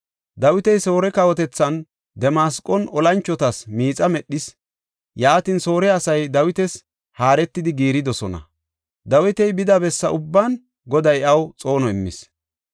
Dawiti Soore kawotethan, Damasqon, olanchotas miixa medhis. Yaatin Soore asay Dawitas haaretidi giiridosona. Dawiti bida bessaa ubban Goday iyaw xoono immis.